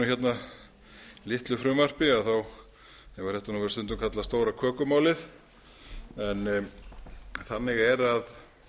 sagði litlu frumvarpi þá hefur þetta stundum verið kallað stóra kökumálið en þannig er að